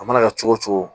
A mana kɛ cogo cogo